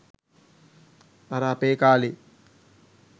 අර අපේ කාලේ